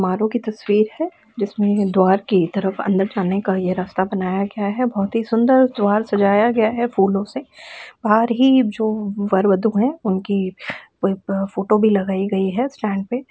मालो की तस्वीर है जिसमें द्वार की तरफ अंदर जाने का ये रास्ता बनाया गया है| बहोत ही सुंदर द्वार सजाया गया है फूलों से बाहर ही जो वर वधु है उनकी फोटो भी लगाई गई है स्टैंड पे ।